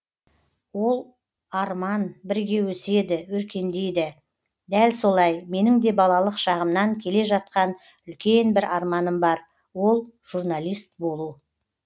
ол арман бірге өседі өркендейді дәл солай менің де балалық шағымнан келе жатқан үлкен бір арманым бар ол журналист болу